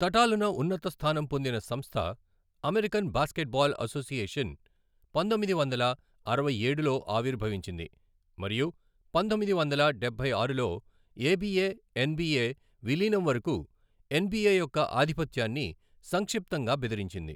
తటాలున ఉన్నతస్థానం పొందిన సంస్థ, అమెరికన్ బాస్కెట్బాల్ అసోసియేషన్ పంతొమ్మిది వందల అరవై ఏడులో ఆవిర్భవించింది మరియు పంతొమ్మిది వందల డబ్బై ఆరులో ఏబిఏ ఎన్బిఏ విలీనం వరకు ఎన్బిఏ యొక్క ఆధిపత్యాన్ని సంక్షిప్తంగా బెదిరించింది.